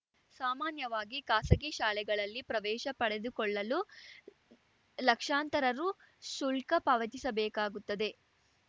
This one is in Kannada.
ಸಾಮಾನ್ಯವಾಗಿ ಖಾಸಗಿ ಶಾಲೆಗಳಲ್ಲಿ ಪ್ರವೇಶ ಪಡೆದುಕೊಳ್ಳಲು ಲಕ್ಷಾಂತರ ರು ಶುಲ್ಕ ಪಾವತಿಸಬೇಕಾಗುತ್ತದೆ